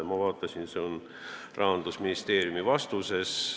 Ma vaatasin järele, see väide on Rahandusministeeriumi vastuses.